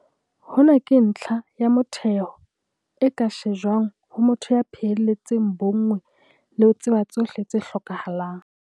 Hona ke ntlha ya motheho e ka shejwang ho motho ya phehelletseng bonngwe le ho tseba tsohle tse hlokahalang.